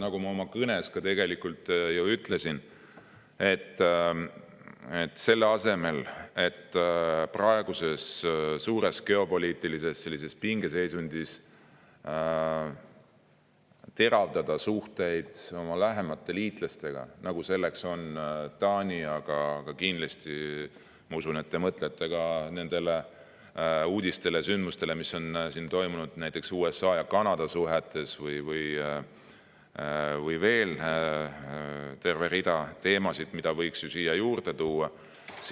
Nagu ma oma kõnes ka ütlesin, selle asemel, et praeguses suures geopoliitilises pingeseisundis teravdada suhteid oma lähemate liitlastega, nagu on Taani – aga kindlasti ma usun, et te mõtlete ka nendele uudistele ja sündmustele, mis on toimunud näiteks USA ja Kanada suhetes, või veel tervele hulgale teemadele, mida võiks ju siia juurde tuua –, on